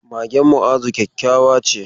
Magen Mu'azu kyakkyawa ce.